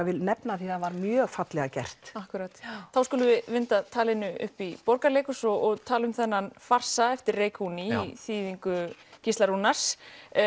vil nefna það því það var mjög fallega gert akkúrat þá skulum við vinda talinu upp í Borgarleikhús og tala um þennan farsa eftir Reykuni í þýðingu Gísla Rúnars